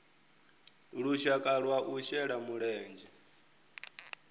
lushaka lwa u shela mulenzhe